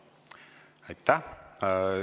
Aitäh!